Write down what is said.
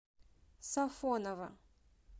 сафоново